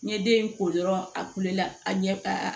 N ye den in ko dɔrɔn a kulela a ɲɛ a